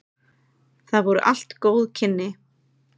Það voru allt góð kynni.